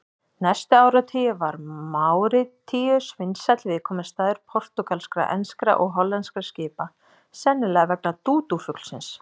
Næstu áratugi var Máritíus vinsæll viðkomustaður portúgalskra, enskra og hollenskra skipa, sennilega vegna dúdúfuglsins.